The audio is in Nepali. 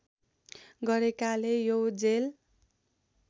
गरेकाले यो जेल